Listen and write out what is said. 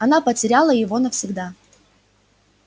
она потеряла его навсегда